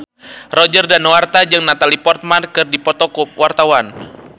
Roger Danuarta jeung Natalie Portman keur dipoto ku wartawan